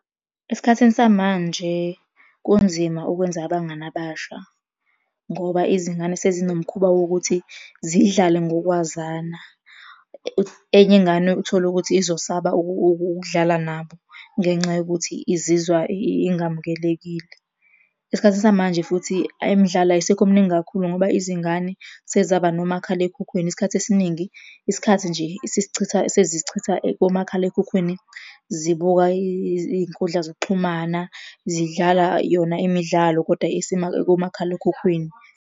Esikhathini samanje kunzima ukwenza abangani abasha, ngoba izingane sezinomkhuba wokuthi zidlale ngokwazana. Enye ingane uthole ukuthi izosaba ukudlala nabo ngenxa yokuthi izizwa ingamukelekile. Esikhathini samanje, futhi ayi imidlalo ayisekho mningi kakhulu ngoba izingane sezaba nomakhalekhukhwini, isikhathi esiningi isikhathi nje isisichitha, sezisichitha komakhalekhukhwini zibuka iy'nkundla zokuxhumana, zidlala yona imidlalo, koda komakhalekhukhwini.